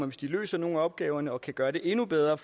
hvis de løser nogle af opgaverne og kan gøre det endnu bedre